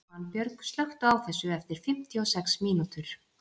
Svanbjörg, slökktu á þessu eftir fimmtíu og sex mínútur.